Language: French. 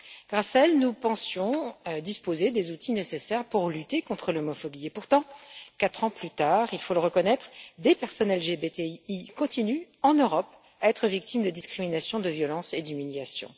Grâce à elles, nous pensions disposer des outils nécessaires pour lutter contre l'homophobie et pourtant, quatre ans plus tard il faut le reconnaître des personnes LGBTI continuent en Europe à être victimes de discrimination, de violences et d'humiliations.